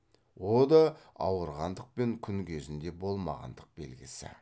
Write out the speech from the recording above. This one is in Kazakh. о да ауырғандық пен күн кезінде болмағандық белгісі